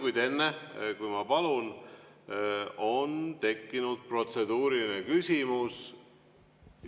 Kuid enne, kui ma palun, on tekkinud protseduuriline küsimus.